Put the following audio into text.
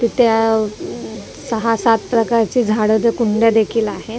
ते त्या अ सहा सात प्रकारच्या झाडाच्या कुंड्या देखील आहेत दोन--